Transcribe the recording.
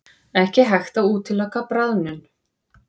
Ekki hægt að útiloka bráðnun